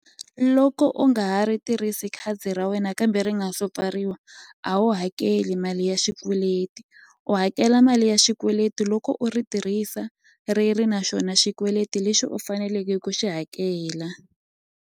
Loko u nga ha ri tirhisi khadi ra wena kambe ri nga so pfariwa a wu hakeli mali ya xikweleti u hakela mali ya xikweleti loko u ri tirhisa ri ri na xona xikweleti lexi u faneleke ku xi hakela.